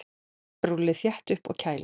Rúllið þétt upp og kælið.